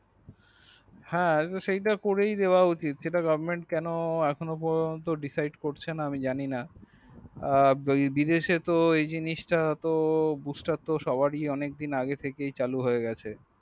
হ্যাঁ সেটা করেই দেওয়া উচিত সেটা goverment এখন পর্যন্ত decide করছে না আমি জানি না এ বিদেশে এই জিনিস টা bush star তোসবারই অনেক দিন আগে থেকে চালু হয়ে গেছে